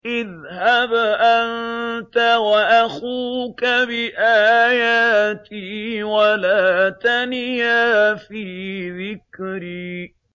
اذْهَبْ أَنتَ وَأَخُوكَ بِآيَاتِي وَلَا تَنِيَا فِي ذِكْرِي